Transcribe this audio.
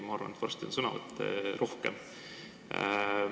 Ma arvan, et varsti on täna ka sõnavõtte rohkem.